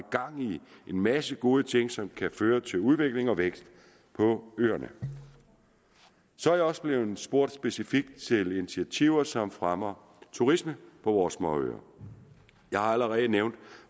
en masse gode ting som kan føre til udvikling og vækst på øerne så er jeg også blevet spurgt specifikt til initiativer som fremmer turisme på vores småøer jeg har allerede nævnt